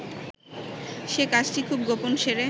সে কাজটি খুব গোপনে সেরে